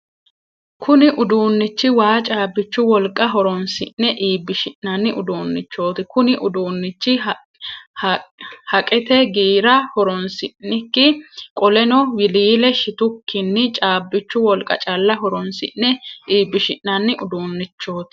Kunni uduunichi waa caabichu wolqa horoonsi'ne iibishi'nanni uduunnichooti. Kunni uduunichi haqete giira horoonsi'niki qoleno wiliile shitukinni caabichu wolqa calla horoonsi'ne iibishi'nanni uduunnichooti.